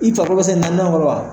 I fako se naani kɔrɔ wa